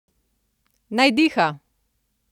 Naj diha!